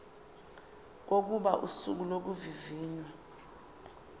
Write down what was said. kokuba usuku lokuvivinywa